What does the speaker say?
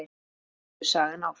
Og nú heldur sagan áfram!